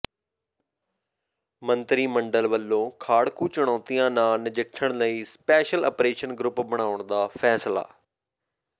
ਮੰਤਰੀ ਮੰਡਲ ਵੱਲੋਂ ਖਾੜਕੂ ਚੁਣੌਤੀਆਂ ਨਾਲ ਨਜਿੱਠਣ ਲਈ ਸਪੈਸ਼ਲ ਅਪਰੇਸ਼ਨ ਗਰੁੱਪ ਬਣਾਉਣ ਦਾ ਫੈਸਲਾ